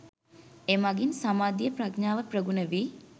එමඟින් සමාධිය, ප්‍රඥාව ප්‍රගුණ වී